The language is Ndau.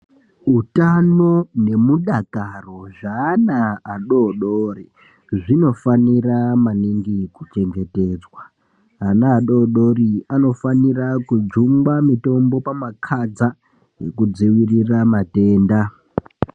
Utano nemudakaro zvaana adodori zvinofanira maningi kuchengetedzwa. Ana adodori anofanira kujungwa mutombo pamakadza ekudzivirira matenda.